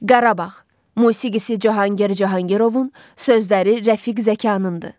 Qarabağ, musiqisi Cahangir Cahangirovun, sözləri Rəfiq Zəkanındır.